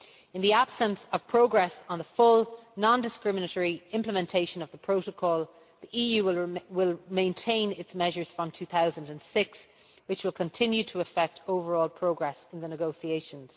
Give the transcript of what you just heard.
In the absence of progress on the full non discriminatory implementation of the Protocol, the EU will maintain its measures from 2006, which will continue to affect overall progress in the negotiations.